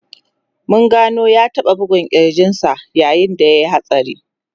Mun gano ya taba bugun kirjin sa yayin da ya yi hatsari.